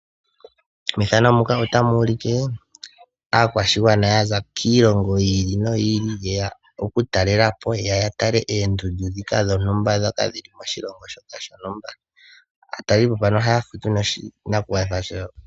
Methano muka otamu u like, aakwashigwana ya za kiilongo yi ili noyi ili, yeya oku talela po, ya tale oondundu ndika dho ntumba, ndhoka dhili moshilongo shoka sho ntumba.